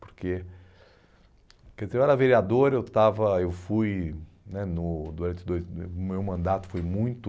Porque, quer dizer, eu era vereador, eu estava, eu fui né, no durante o meu mandato, foi muito...